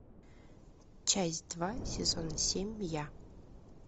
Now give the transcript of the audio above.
часть два сезон семь я